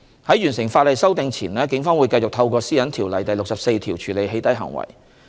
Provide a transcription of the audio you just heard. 在完成法例修訂前，警方會繼續透過《私隱條例》第64條處理"起底"行為。